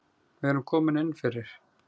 Við erum komin inn fyrir